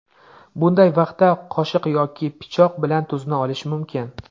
Bunday vaqtda qoshiq yoki pichoq bilan tuzni olish mumkin.